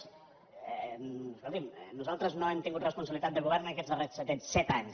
escolti’m nosaltres no hem tingut responsabilitat de govern aquests darrers set anys